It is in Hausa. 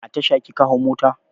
A Tasha kika hau mota?